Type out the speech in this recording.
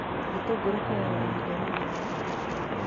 Gĩtũngũrũ kĩoyaga ihinda rĩigana atĩa gũkũra?